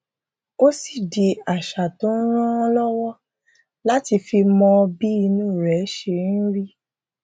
ó sì di àṣà tó ń ràn án lọwọ láti fi mọ bí inú rẹ ṣe ń rí